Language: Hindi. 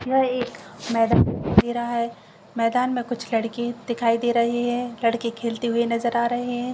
यहां एक मैदान दिखाई दे रहा है मैदान में कुछ लड़के दिखाई दे रहे हैं लड़की के खेलते हुए नजर आ रहे है।